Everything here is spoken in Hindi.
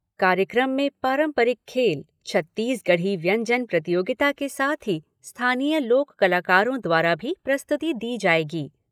कार्यक्रम में पारंपरिक खेल, छत्तीसगढ़ी व्यंजन प्रतियोगिता के साथ ही स्थानीय लोक कलाकारों द्वारा भी प्रस्तुति दी जाएगी।